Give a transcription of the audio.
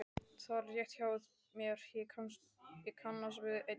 Það var rétt hjá mér, ég kannast við einn þeirra.